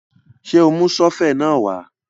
Ṣé o mú sọ́fẹ̀ náà wá?